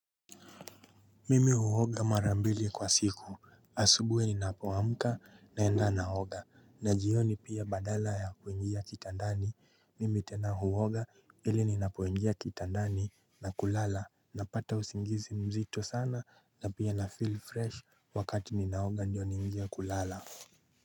Mimi huoga mara mbili kwa siku asubuhi ninapoamka naenda naoga na jioni pia badala ya kuingia kitandani mimi tena huoga ili ninapoingia kitandani na kulala napata usingizi mzito sana na pia na feel fresh wakati ninaoga ndio niingie kulala.